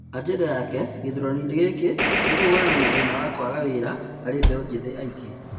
Ajenda yake nene gĩthuranoinĩ gĩki nĩ kũhũrana na thĩna wa kũaga wĩra harĩ mbeu njithi aingĩ.